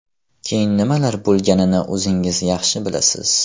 Keyin nimalar bo‘lganini o‘zingiz yaxshi bilasiz...